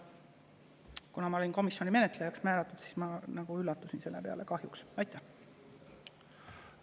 Kuna ma olin tookord määratud menetlejaks, siis ma üllatusin selle peale, et kahjuks.